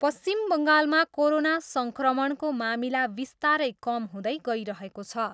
पश्चिम बङ्गालमा कोरोना सङ्क्रमणको मामिला विस्तारै कम हुँदै गइरहेको छ।